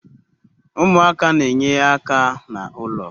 Umuaka na-enye aka na ulo